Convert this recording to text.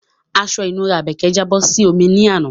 Aṣọ ìnura Àbèkẹ́ jábọ́ sí omi ní àná